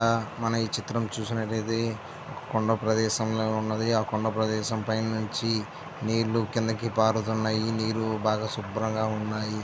మనమ్ ఈ చిత్రం అనేది ఉన్న ప్రదేశం ఉన్నది ఆ కొండ ప్రదేశం పైన నుంచి ఈ చిత్రం అనేది ఉన్న ప్రదేశం ఉన్నది ఆ కొండ ప్రదేశం పైనుంచి నీళ్లు కిందికి పారుతున్నాయి నీళ్లు బాగా శుభ్రంగా ఉన్నాయి.